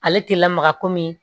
Ale tɛ lamaga komi